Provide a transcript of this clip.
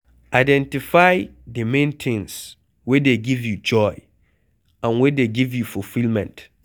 Identify di main things wey dey give you joy and wey dey give fulfilment